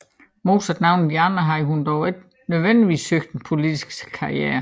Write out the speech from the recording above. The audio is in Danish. Modsat nogle af de andre havde hun dog ikke nødvendigvis søgt en politisk karriere